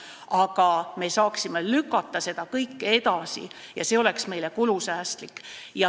Aga me saaksime lükata seda kõike edasi ja see oleks kulusäästlik.